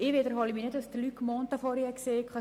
Ich wiederhole nicht, was Luc Mentha vorhin gesagt hat.